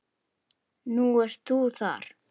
Nú ert þú þar.